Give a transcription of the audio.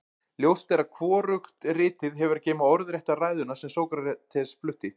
ljóst er að hvorugt ritið hefur að geyma orðrétta ræðuna sem sókrates flutti